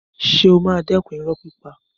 Ṣé ó máa dẹ́kun irọ́ pípa?